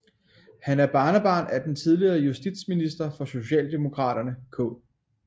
Han er barnebarn af den tidligere justitsminister for Socialdemokraterne K